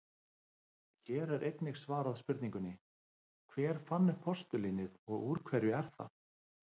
Hér er einnig svarað spurningunni: Hver fann upp postulínið og úr hverju er það?